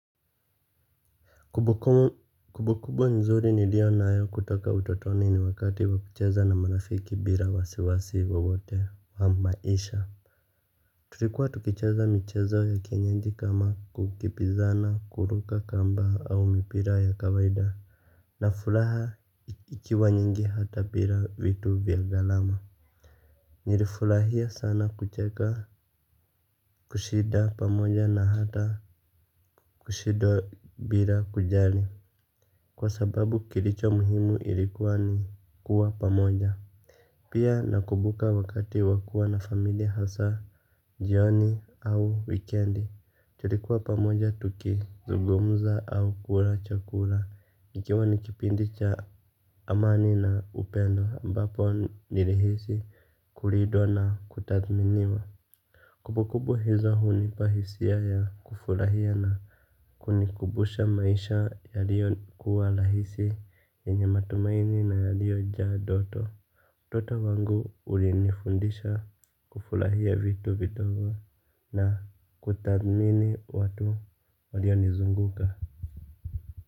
Kumbukumbu nzuri nilio nayo kutoka utotoni ni wakati wa kucheza na marafiki bila wasiwasi wowote wa maisha. Tulikuwa tukicheza michezo ya kienyeji kama kukimbizana, kuruka kamba au mipira ya kawaida na furaha ikiwa nyingi hata bila vitu vya garama. Nilifurahia sana kucheka kushida pamoja na hata kushinda bila kujali. Kwa sababu kilicho muhimu ilikuwa ni kuwa pamoja. Pia nakumbuka wakati wa kua na familia hasa ioni au wikendi. Tulikuwa pamoja tukizungumza au kula chakula ikiwa ni kipindi cha amani na upendo ambapo nilihisi kulindwa na kutathminiwa. Kumbukumbu hizo hunipa hisia ya kufurahiana kunikumbusha maisha yalio kuwa rahisi yenye matumaini na yalio jaa ndoto. Toto wangu ulinifundisha kufurahia vitu vidogo na kutathmini watu walio nizunguka.